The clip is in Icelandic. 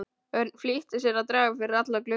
Örn flýtti sér að draga fyrir alla glugga.